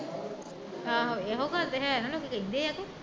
ਆਹੋ ਇਹੋ ਗੱਲ ਤੇ ਹੈ ਨਾ ਲੋਕੀਂ ਕਹਿੰਦੇ ਆ ਕਿ